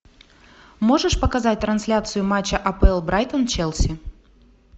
можешь показать трансляцию матча апл брайтон челси